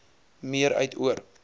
meer uit oor